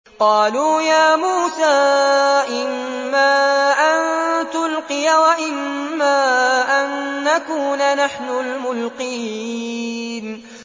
قَالُوا يَا مُوسَىٰ إِمَّا أَن تُلْقِيَ وَإِمَّا أَن نَّكُونَ نَحْنُ الْمُلْقِينَ